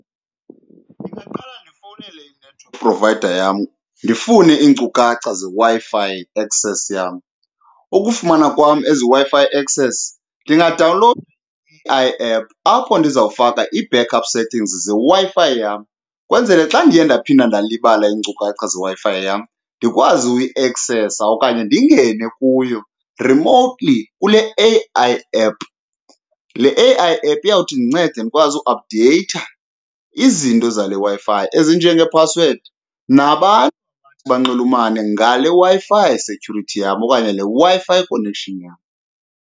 Ndingaqala ndifowunele i-network provider yam ndifune iinkcukacha zeWi-Fi acess yam. Ukufumana kwam eziWi-Fi access ndingadawunlowudwa i-A_I app apho ndizawufaka ii-backup settings zeWi-Fi yam kwenzele xa ndiye ndaphinda ndalibala iinkcukacha zeWi-Fi yam ndikwazi uyiaksesa okanye ndingene kuyo remotely kule A_I app. Le A_I app iyawuthi indincede ndikwazi uaphudeyitha izinto zale Wi-Fi ezinjengeephasiwedi nabantu abathi banxulumane ngale Wi-Fi security yam okanye le Wi-Fi connection yam.